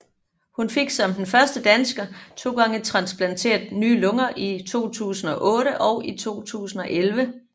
Hun fik som den første dansker to gange transplanteret nye lunger i 2008 og 2011